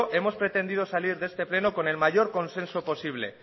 hemos pretendido salir de este pleno con el mayor consenso posible